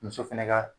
Muso fɛnɛ ka